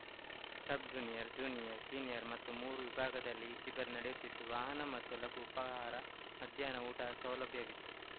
ಸಬ್‌ junior junior senior ಮತ್ತು ಮೂರು ವಿಭಾಗದಲ್ಲಿ ಈ ಶಿಬಿರ ನಡೆಯುತ್ತಿದ್ದು ವಾಹನ ಮತ್ತು ಲಘು ಉಪಹಾರ ಮಧ್ಯಾಹ್ನ ಊಟ ಸೌಲಭ್ಯವಿದೆ